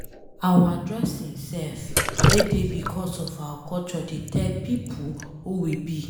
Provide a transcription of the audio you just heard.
Our dressing sef wey dey becos of our culture dey tell pipo who we be.